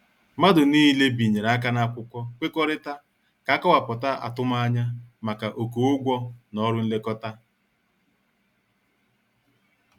Mmadụ niile binyere aka na akwụkwọ nwekorita ka- akowaputa atumanya maka oké ụgwọ na ọrụ nlekọta.